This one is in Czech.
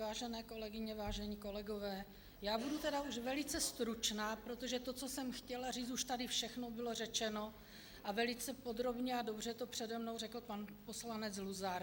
Vážené kolegyně, vážení kolegové, já budu tedy už velice stručná, protože to, co jsem chtěla říct, už tady všechno bylo řečeno a velice podrobně a dobře to přede mnou řekl pan poslanec Luzar.